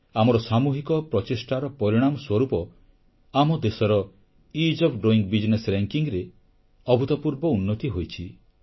ଆମର ସାମୁହିକ ପ୍ରଚେଷ୍ଟାର ପରିଣାମ ସ୍ୱରୂପ ଆମ ଦେଶର ଇଜ୍ ଓଏଫ୍ ଡୋଇଂ ବିଜନେସ୍ ବା ବ୍ୟବସାୟିକ ସୁଗମତା ରେ ଅଭୂତପୂର୍ବ ଉନ୍ନତି ହୋଇଛି